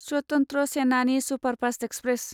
स्वतन्त्र Senani superfast express